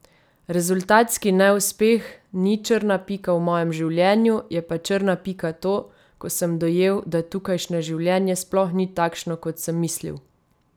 Rezultatski neuspeh ni črna pika v mojem življenju, je pa črna pika to, ko sem dojel, da tukajšnje življenje sploh ni takšno, kot sem mislil.